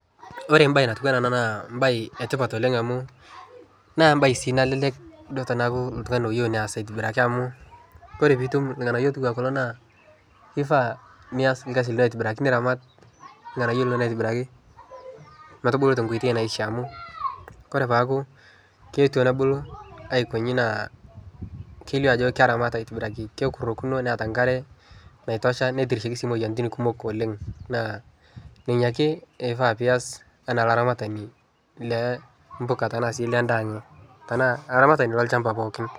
Ore embaye natiu enaa ena naa embaye e tipat oleng' amu naa embaye sii nalelek duo teneaku oltung'ani oyeu neas aitobiraki amu kore piitum irng'anayio otiu aa kulo naa kifaa nias orkasi lino aitobiraki, niramat irng'anayio linonok aitobiraki metubulu te nkoitoi naishia amu kore paaku keetuo nebulu aiko nchi naa kelio ajo keramata aitobiraki, kekurokino neeta nkare naitosha, netiriki sii imoyiaritin kumok oleng'. Naa ninye ake ifaa pias enaa olaramatani le mpuka tena siai endaa tenaa olaramatani lolchamba pookin.